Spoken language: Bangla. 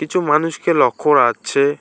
কিছু মানুষকে লক্ষ্য করা যাচ্ছে।